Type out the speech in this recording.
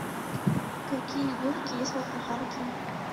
какие горки есть в аквапарке